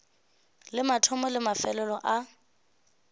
le mathomo le mafelelo a